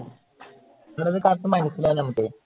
ഇന്നത്തെ കാലത്തു നമുക്ക് മനസിലാവില്ല അത്.